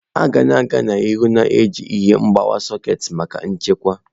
A ga-aga n'ihu na-eji ihe mgbawa sekit maka nchekwa.